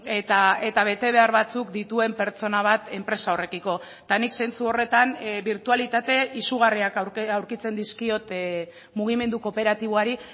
eta betebehar batzuk dituen pertsona bat enpresa horrekiko eta nik zentzu horretan birtualitate izugarriak aurkitzen dizkiot mugimendu kooperatiboari